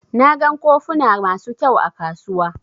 Na gan kofuna masu ƙyau a kasuwa.